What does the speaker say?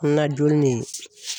An na don ne ye.